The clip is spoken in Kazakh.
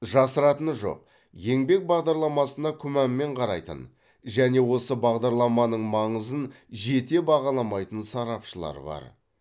жасыратыны жоқ еңбек бағдарламасына күмәнмен қарайтын және осы бағдарламаның маңызын жете бағаламайтын сарапшылар бар